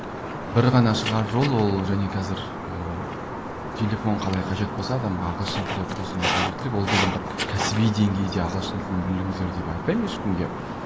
бір ғана шығар жол ол және қазір ыыы телефон қалай қажет болса адамға ағылшын тіл де тура сондай қажеттілік ол деген бір кәсіби деңгейде ағылшын тілін біліңіздер деп айтпаймын ешкімге